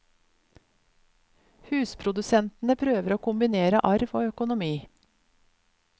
Husprodusentene prøver å kombinere arv og økonomi.